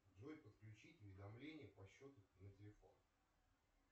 джой подключить уведомления по счету на телефон